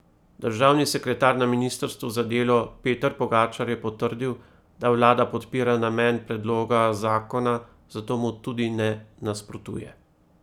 Državni sekretar na ministrstvu za delo Peter Pogačar je potrdil, da vlada podpira namen predloga zakona, zato mu tudi ne nasprotuje.